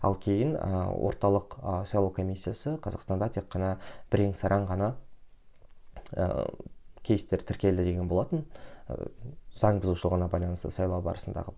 ал кейін ыыы орталық ы сайлау комиссиясы қазақстанда тек қана бірең сараң ғана ыыы кейстер тіркелді деген болатын ыыы заң бұзушылығына байланысты сайлау барысындағы